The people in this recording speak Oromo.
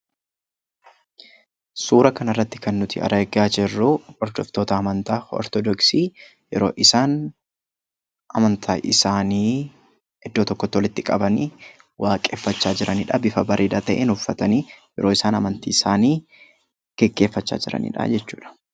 Suuraa kanarratti kan nuti argaa jirru hordoftoota amantaa ortodoksii fi yeroo isaan amantaa isaanii iddoo tokkotti walitti qabanii waaqeffachaa jiranidha; bifa bareedaa ta'een uffatanii yeroo isaan amantii isaanii gaggeeffataa jiranidha jechuudha.